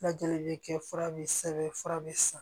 Lajɛli bɛ kɛ fura be sɛbɛn fura bi san